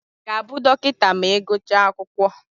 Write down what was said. Ị ga-abụ dọkịta ma gụchaa akwụkwọ?